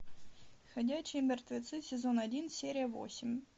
ходячие мертвецы сезон один серия восемь